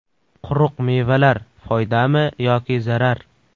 Quruq mevalar foydami yoki zarar?.